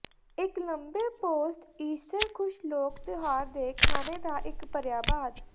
ਇੱਕ ਲੰਬੇ post Easter ਖੁਸ਼ ਲੋਕ ਤਿਉਹਾਰ ਦੇ ਖਾਣੇ ਦਾ ਇੱਕ ਭਰਿਆ ਬਾਅਦ